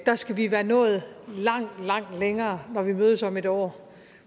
skal vi være nået langt langt længere når vi mødes om et år